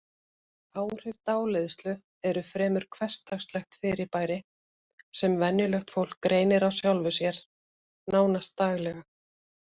Áhrif dáleiðslu eru fremur hversdagslegt fyrirbæri sem venjulegt fólk reynir á sjálfu sér, nánast daglega.